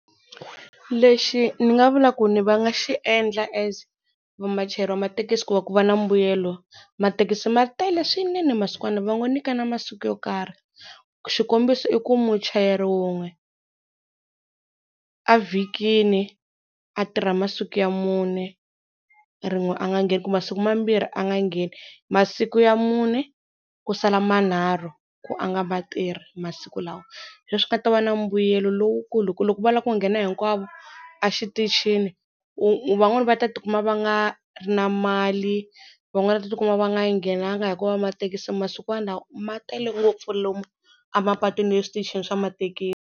Lexi ni nga vula ku ni va nga xi endla as vachayeri va mathekisi ku va ku va na mbuyelo mathekisi ma tele swinene masikwana lawa va nga nyikana masiku yo karhi xikombiso i ku muchayeri wun'we evhikini a tirha masiku ya mune, rin'we a nga ngheni ku masiku mambirhi a nga ngheni masiku ya mune ku sala manharhu ku a nga vatirhi masiku lawa se na mbuyelo lowukulu hi ku loko va lava ku nghena hinkwavo exitichini u van'wana va ta tikuma va nga ri na mali van'wana va ta tikuma va nga nghenanga hikuva mathekisi masikwana lawa ma tele ngopfu lomu a mapatwini ni le switichini swa mathekisi.